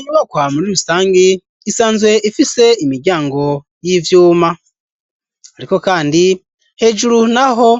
Inyubakwa muri rusangi isanzwe ifise imiryango y'ivyuma ariko kandi hejuru naho